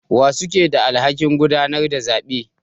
Wa suke da alhakin gudanar da zabe?